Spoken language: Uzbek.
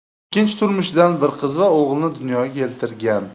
Ikkinchi turmushidan bir qiz va o‘g‘ilni dunyoga keltirgan.